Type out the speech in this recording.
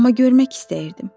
Amma görmək istəyirdim.